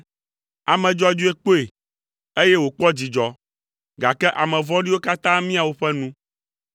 Ame dzɔdzɔe kpɔe, eye wòkpɔ dzidzɔ, gake ame vɔ̃ɖiwo katã mia woƒe nu.